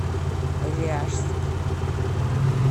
ряжск